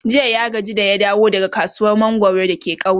jiya ya gaji da ya dawo daga kasuwar mangwaro dake kauye